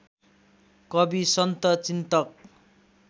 कवि सन्त चिन्तक